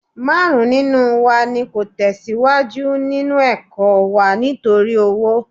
Márùn-ún nínú wa ni kò ní tẹ̀síwájú nínú ẹ̀kọ́ wa nítorí owó